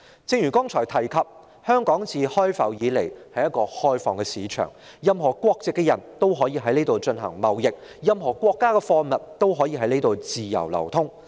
正如剛才提及，香港自開埠以來一直是一個開放市場，任何國籍的人也可以在這裏進行貿易，任何國家的貨物也可以在這裏自由流通。